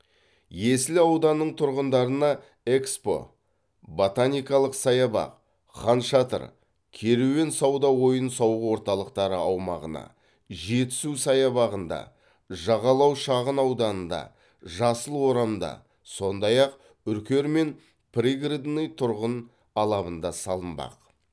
есіл ауданының тұрғындарына експо ботаникалық саябақ хан шатыр керуен сауда ойын сауық орталықтары аумағына жетісу саябағында жағалау шағын ауданында жасыл орамда сондай ақ үркер мен пригородный тұрғын алабында салынбақ